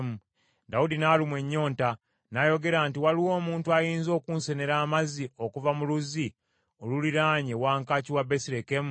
Dawudi n’alumwa ennyonta, n’ayogera nti, “Waliwo omuntu ayinza okunsenera amazzi okuva mu luzzi oluliraanye wankaaki wa Besirekemu?”